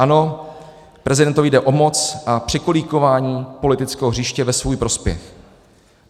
Ano, prezidentovi jde o moc a překolíkování politického hřiště ve svůj prospěch.